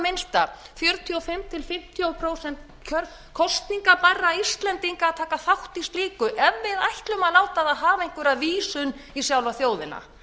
minnsta fjörutíu og fimm til fimmtíu prósent kosningabærra íslendinga að taka þátt í slíku ef við ætlum að láta það hafa einhverja vísun í sjálfa þjóðina